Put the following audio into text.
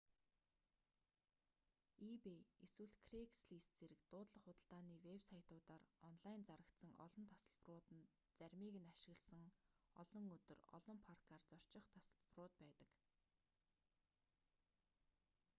ebay эсвэл craigslist зэрэг дуудлага худалдааны вэб сайтуудаар онлайн зарагдсан олон тасалбарууд нь заримыг нь ашигласан олон өдөр олон паркаар зорчих тасалбарууд байдаг